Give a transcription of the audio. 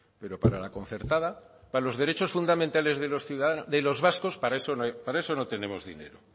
pero para la concertada para los derechos fundamentales de los ciudadanos de los vascos para eso no hay para eso no tenemos dinero